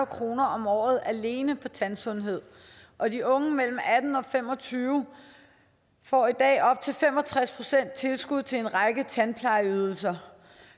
kroner om året alene på tandsundhed og de unge mellem atten og fem og tyve år får i dag op til fem og tres procent tilskud til en række tandplejeydelser